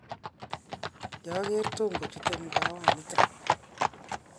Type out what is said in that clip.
kiageer Tom kochuteimkaawa nito